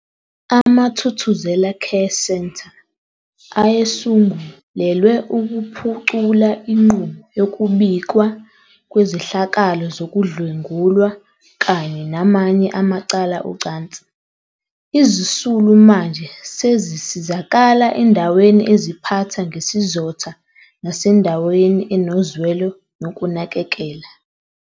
AmaThuthuzela Care Centre ayesungulelwe ukuphucula inqubo yokubikwa kwezehlakalo zokudlwengulwa kanye namanye amacala ocansi. Izisulu manje sezisizakala endaweni eziphatha ngesizotha nasendaweni enozwelo nokunakekela.